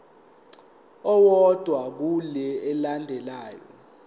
owodwa kule elandelayo